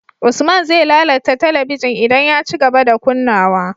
Usman ze lalata talabigin idan ya cigaba da kunnawa